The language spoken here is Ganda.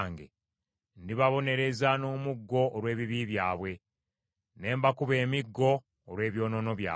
ndibabonereza n’omuggo olw’ebibi byabwe, ne mbakuba emiggo olw’ebyonoono byabwe.